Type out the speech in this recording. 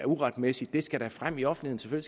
uretmæssigt skal da frem i offentligheden